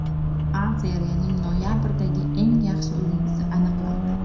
A Seriyaning noyabrdagi eng yaxshi o‘yinchisi aniqlandi.